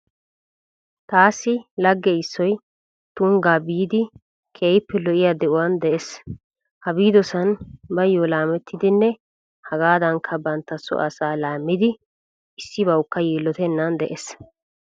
Taassi lagge issoyi Tuniggaa biidi keehippe lo'iya de'uwa de'ees. Ha biidosan baayyo laamettidinne hegaadankka banitta soo asaa laammidi issibawukka yiillotennan de'ees.